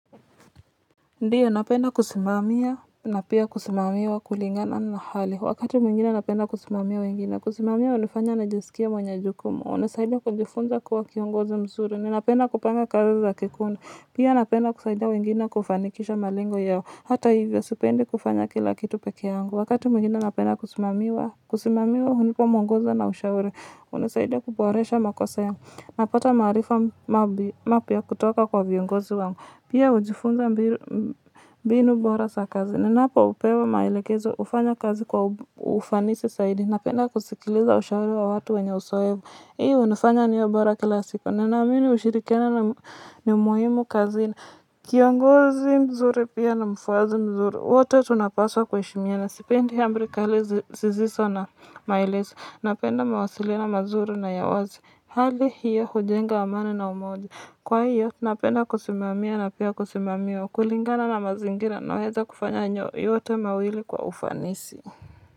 Ndiyo, napenda kusimamiya na pia kusimamiwa wa kulingana na hali. Wakati mwingine napenda kusimamia wengine. Kusimamiya, hunifanya nijisikie mwenye jukumu. Hunisaidiya kujifunza kuwa kiongozi mzuri. Ninapenda kupanga kazi za kikundi. Pia napenda kusaidiya wengine kufanikisha malengo yao. Hata hivyo, sipendi kufanya kila kitu peke yangu. Wakati mwingine napenda kusimamiwa, kusimamiwa hunipa mwongozo na ushauri. Hunisaidiya kuboresha makosa yangu. Napata maarifa mapya kutoka kwa viongozi wangu. Pia hujifunza mbinu bora za kazi. Ninapo pewa maelekezo hufanya kazi kwa ufanisi zaidi. Napenda kusikiliza ushauri wa watu wenye uzoefu hii hunifanya niwe bora kila siku. Na amini ushirikiano ni muhimu kazini. Kiongozi mzuri pia ni mufwasi mzuri wote tunapaswa kuheshimiana. Sipendi ya amri kali zisizo na maelezo. Napenda mawasiliano mazuri na ya wazi. Hali hiyo hujenga amani na umoja. Kwa hiyo, napenda kusimamia na pia kusimamiwa kulingana na mazingira na weza kufanya nyo, yote mawili kwa ufanisi.